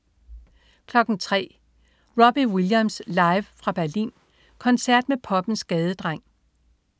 03.00 Robbie Williams. Live fra Berlin. Koncert med poppens gadedreng